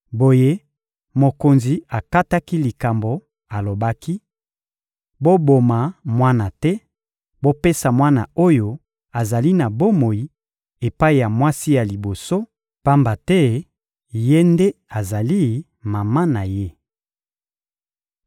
Boye, mokonzi akataki likambo, alobaki: — Boboma mwana te! Bopesa mwana oyo azali na bomoi epai ya mwasi ya liboso, pamba te ye nde azali mama na ye.